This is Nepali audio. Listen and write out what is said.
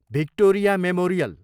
Victoria memorial